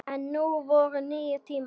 En nú voru nýir tímar.